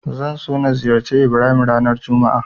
Zan so na ziyarci Ibrahim ranar juma'a.